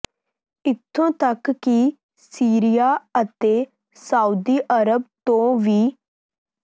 ਇੱਥੋਂ ਤੱਕ ਕਿ ਸੀਰੀਆ ਅਤੇ ਸਾਊਦੀ ਅਰਬ ਤੋਂ ਵੀ